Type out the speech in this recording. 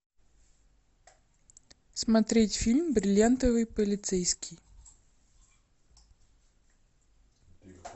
смотреть фильм бриллиантовый полицейский